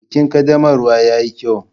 Bikin ƙaddamarwa yayi kyau.